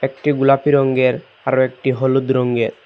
একটি গোলাপী রঙ্গের আরও একটি হলুদ রঙ্গের ।